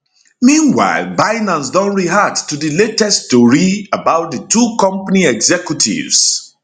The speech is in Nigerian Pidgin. meanwhile binance don react to di latest tori about di two company executives